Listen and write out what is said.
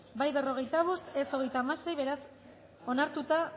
izan da hirurogeita hamalau eman dugu bozka hogeita bederatzi boto aldekoa cuarenta y cinco contra